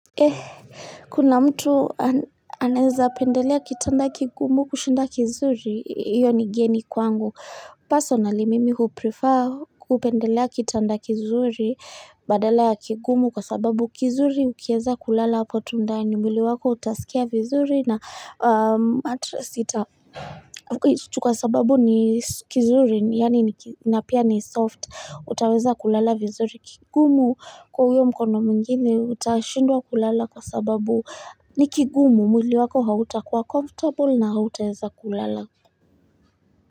Eh, kuna mtu anaweza pendelea kitanda kigumu kushinda kizuri, iyo ni geni kwangu. Personnaly mimi huprefer kupendelea kitanda kizuri badala ya kigumu kwa sababu kizuri ukieza kulala hapo tu ndani, mwili wako utasikia vizuri na mattress ita. Kwa sababu ni kizuri yaani ni napia ni soft utaweza kulala vizuri kigumu kwa huyo mkono mwingine utashindwa kulala kwa sababu ni kigumu mwili wako hauta kuwa comfortable na hautaweza kulala.